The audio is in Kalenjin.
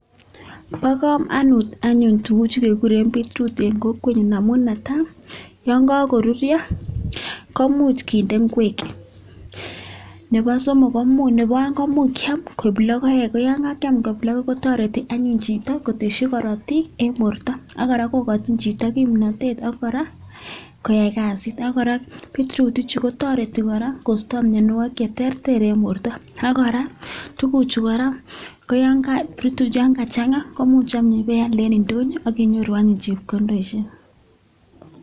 Bo komonut anyuun tuguchu keguren beet root en kokwenyun amun netai yon kogoruryo komuch kinde ngwek. Ne bo oeng koimuch kyam koik logoek. Ko yon kakyam koik logoek kotoreti anyun chito kotesyi korotik en borto ak kora kogochin chito kimnatet koyai kasit. Ago kora beet root ichu kotoreti kora kosto mianwogik che terter en borto ak kora tuguchu kora koyan kachang'a koimuch ibe alde ne ndonyo ak inyoru anyun chepkondoishek.